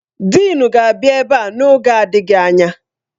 Dịịn ga-abịa ebe a n'oge adịghị anya.